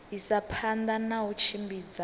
isa phanda na u tshimbidza